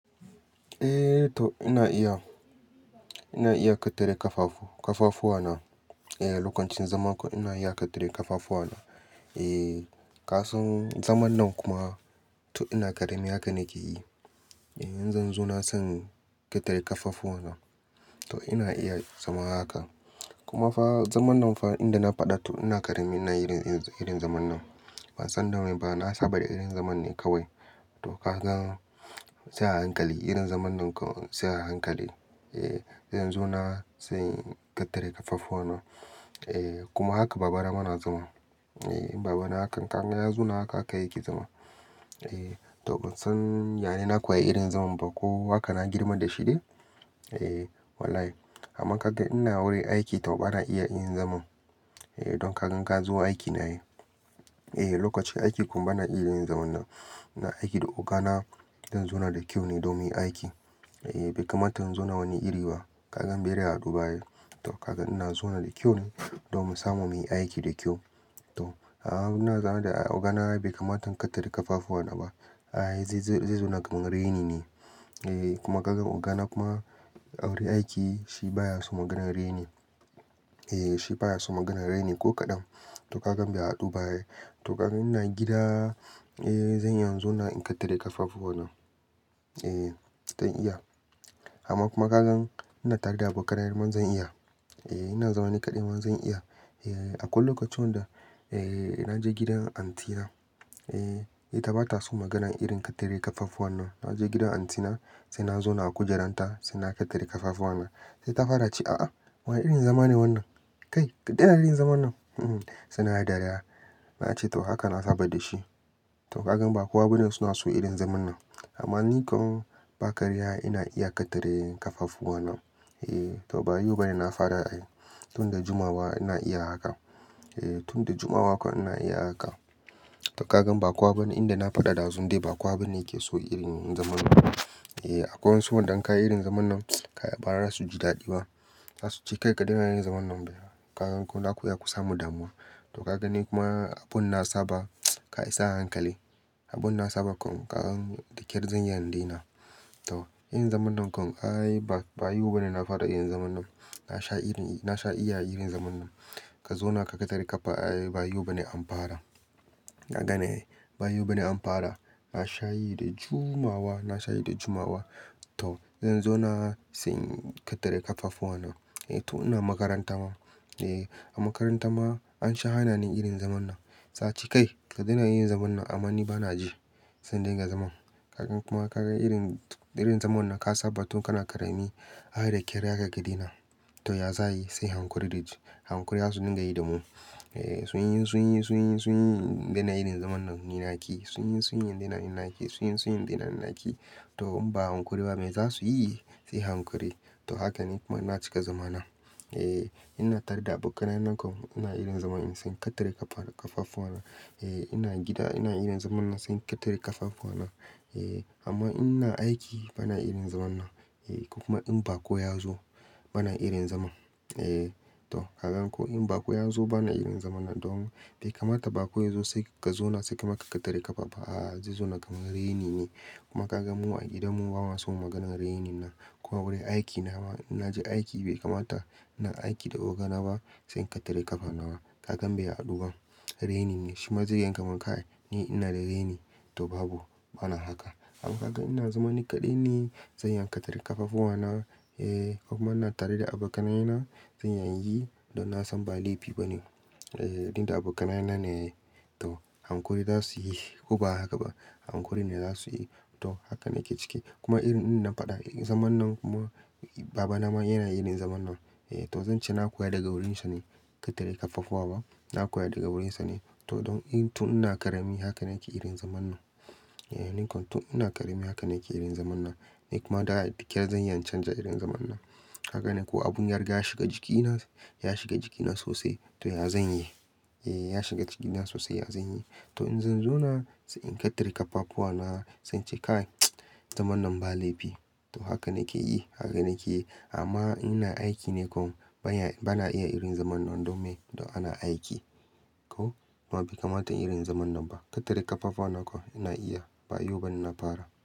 Eh to ina iya, ina iya kitare kafafu, kafafuwa na. Eh lokacin zaman kuwa ina iya kitre kafafuwa na. Eh kasan zaman nan kuma to ina karami haka nake yi. Eh in zan zo na san ketare kafafuwa na. To ina iya zama haka. Kuma fa zaman nan fa inda na faɗa to ina karami ina irin, irin zaman nan. Ban san da mai ba, na saba da irin zaman ne kawai. To kaga sai a hankali irin zaman nan sai a hankali. Eh zan zo na, sai ketare kafafuwa na. Eh kuma haka baba na mana zama. Eh baba na hakan, ka gan ya zo na haka aka yiki zama. Eh to ban san, yaya na koya irin zaman ba ko haka na girma da shi ne? Eh wallahi. Amma ka ga ina wure aiki tau bana iya irin zaman. Eh don ka gan ka zo aiki nai ai. Eh lokacin aiki kuma bana iya irin zaman nan. Na aiki da ogana. Don zo na da kyau ne domin aiki. Eh bai kamata in zauna wani iri ba. Ka gan bai da ya ado ba ye. To kaga ina zauna da kyau ne domin samun mu aiki da kyau. To, a'a ina zama da ogana bai kamata in ketare kafafuwa na ba. Ai zai zo, zai zauna kaman raini ne. Eh kuma kaga ogana kuma a wure aiki shi baya so maganar raini. Eh shi baya so maganar raini ko kaɗan. To kagan bai haɗu ba ne. To kaga ina gida, eh zan iya in zauna in ketare kafafuwa na. Eh zan iya. Amma kuma kaga ina tare da abokan ayar man zan iya. Eh ina zama niƙaɗe ma zan iya. Eh akwai lokacin wanda, eh na je gidan anti na. Eh ita bata so maganar irin ketare kafafuwa nan. Na je gidan anti na, sai na zauna a kujerar ta, sai na ketare kafafuwa na. Sai ta fara ce, "a'a wane irin zama ne wannan? Kai ka daina irin zaman nan." Sai nayi dariya. Na ce to haka na saba da shi. To kagan ba kowa bane suna so irin zaman nan. Amma ni kam ba karya ina iya ketare kafafuwa na. Eh to ba yau bane na fara ayi. Tun da juma'a baba ina iya haka. Eh tun da juma'a kuwa ina iya haka. To kagan ba kowa bane inda na faɗa dazun dai ba kowa bane yake so irin zaman nan. Eh akwai wasu wanda in yi irin zaman nan, ba za su ji daɗi ba. Zasu ce kai ka daina yin zaman nan baya. Ka gan ko za ku iya kusa mudammu'a. To ka ga ne kuma abun na saba, kai sai a hankali. Abun na saba kuma kaga dikir zan yi har dai na. To irin zaman nan kuma ai ba, ba yau bane na fara irin zaman nan. Na sha irin, na sha iya irin zaman nan. Ka zo na ka ketare kafa ai ba yau bane an fara. Ka ga ne ai ba yau bane an fara. Na sha yi da juma'a wa, na sha yi da juma'a wa. To zan zauna, sai ketare kafafuwa na. Eh to ina makaranta ma. Eh a makaranta ma an sha hana ni irin zaman nan. Sai a ce kai ka daina yin zaman nan amma ni bana ji. Sai in dinga zaman. Ka gan kuma ka gan irin, irin zaman nan ka saba tun kana ƙarami. Ai da kyar za kagan ka dena. To ya zayi sai hankuri dai ji. Hankuri zasu dinga yi da mu. Eh sun yi, sun yi, sun yi, sun yi daina irin zaman nan ina yake. Sun yi, sun yi daina ina yake. Sun yi, sun yi daina ina yake. To in ba hankuri ba me zasu yi? Sai hankuri. To hakan ne kuma na cika zaman nan. Eh ina tare da abokanai nan kuma ina irin zaman in son ketare kafa, kafafuwa na. Eh ina gida ina irin zaman na son kitre kafafuwa na. Eh amma ina aiki bana irin zaman nan. Eh ko kuma in ba ko ya zo bana irin zaman. Eh to kagan ko in bako ya zo bana irin zaman nan don bai kamata ba ko ya zo sai ka zo na sai ka maka ketare ƙafa. A'a zai zo na kaman raini ne. Kuma ka gan mu a gidan mu ba ma suna maganar raini na. Kuma wurin aiki na ma, in na je aiki bai kamata ina aiki da ogana ba sai in ketare ƙafa na ba. Ka gan bai aɗo ba. Raini ne shi ma yanka mun kai ni ina da raini. To babu bana haka. Amma ka gan ina zama niƙaɗe ne zan iya ketare ƙafafuwa na. Eh kuma ina tare da abokanai na zan iya yi don na san ba laifi bane. Eh inda abokanai na ne. To hankuri za su yi ko ba haka ba. Hankuri ne za su yi. To haka nake cike. Kuma irin ina faɗa zaman nan kuma baba na ma yana irin zaman nan. Eh to zan ce na koya daga wurin sa ne kitre ƙafafuwa ba. Na koya daga wurin sa ne. To don in, tun ina ƙarami haka nake irin zaman nan. Eh ni kuma tun ina ƙarami haka nake irin zaman nan. Ni kuma da dia kyar zan iya canza irin zaman nan. Ka gan ne ko abun yarƙa ya shiga jikina, ya shiga jikina sosai to ya zan yi. Eh ya shiga jikina sosai ya zan yi. To in zan zauna, sai in ketare ƙafafuwa na, sai ce kai zaman nan ba laifi. To haka nake yi, haka nake yi. Amma ina aiki ne kuma bana, bana iya irin zaman nan domin to ana aiki. Ko? Ba bai kamata irin zaman nan ba. Ketare ƙafafuwa na kuma ina iya ba yau bane na fara.